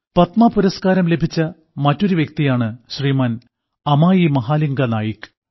പത്മപുരസ്കാരം ലഭിച്ച മറ്റൊരു വ്യക്തിയാണ് ശ്രീമാൻ അമായീമഹാലിംഗാനായിക്